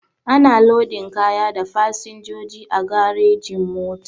Ana lodin kaya da fasinjoji a garejin-mota.